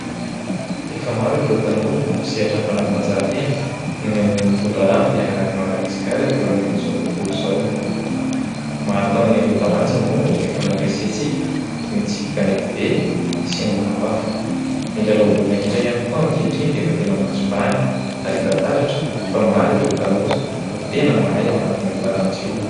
Efa maro ireo tanora mpisehatra amin'ny fanatanjahantena no nitondra avo ny anaran'i Madagasikara teo anivon'izao tontolo izao. Maro tamin'ireo taranja moa no efa nandrisika antsika toy ny tsipy kanetibe sy ny maro hafa. Ny lalao baolina kitra ihany koa ankehitriny dia efa tena mahazo vahana ary hita taratra fa maro ireo tanora no tena mahay ao anatin'io taranja io.